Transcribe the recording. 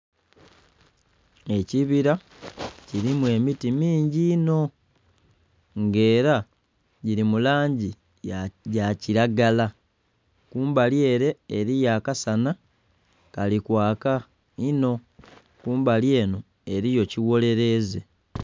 Ekibira kirimu emiti mingi inho nga era giri mulangi yakiragala kumbali ere eriyo akasana kalikwaka inho kumbali eno eriyo kigholereza.